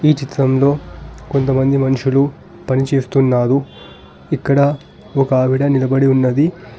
ఈ చిత్రంలో కొంతమంది మనుషులు పనిచేస్తున్నారు ఇక్కడ ఒక ఆవిడ నిలబడి ఉన్నది.